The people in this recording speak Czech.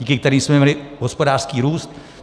Díky kterým jsme měli hospodářský růst.